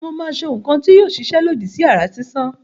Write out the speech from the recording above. Mo má se oun kan ti yio ma sisẹ